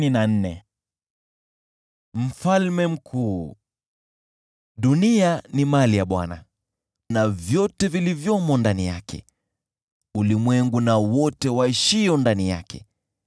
Dunia ni mali ya Bwana , na vyote vilivyomo ndani yake, ulimwengu, na wote waishio ndani yake,